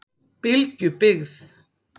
Bylgjubyggð